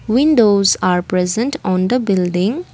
windows are present on the building.